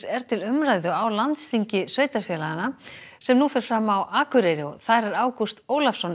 er til umræðu á landsþingi sveitarfélaganna sem nú fer fram á Akureyri og þar er Ágúst Ólafsson